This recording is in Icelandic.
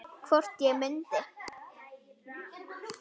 Hvort ég mundi.